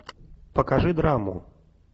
покажи драму